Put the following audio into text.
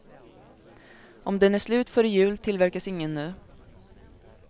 Om den är slut före jul tillverkas ingen ny.